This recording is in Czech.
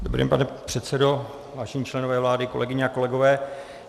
Dobrý den, pane předsedo, vážení členové vlády, kolegyně a kolegové.